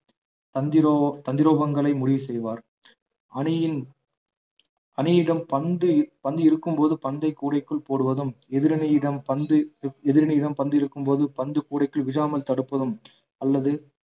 தந்திரோ~ தந்திரோபங்களை முடிவு செய்வார் அணியின் அணியிடம் பந்து பந்து இருக்கும்போது பந்தை கூடைக்குள் போடுவதும் எதிரணியிடம் பந்து எதிரணியிடம் பந்து இருக்கும்போது பந்து கூடைக்குள் விழாமல் தடுப்பதும் அல்லது